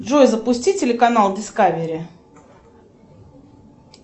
джой запусти телеканал дискавери